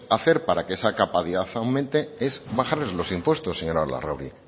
hacer para que esa capacidad aumente es bajarles los impuestos señora larrauri